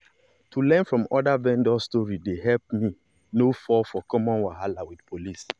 to learn from other vendors story dey help me no fall for common wahala with police.